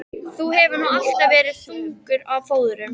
Þú hefur nú alltaf verið þungur á fóðrum.